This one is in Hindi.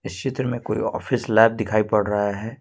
इस चित्र में कोई ऑफिस लेब दिखाई पड़ रहा है।